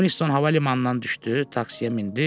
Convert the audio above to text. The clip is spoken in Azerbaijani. Winstoun hava limanından düşdü, taksiyə mindi.